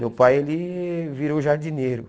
Meu pai ele virou jardineiro.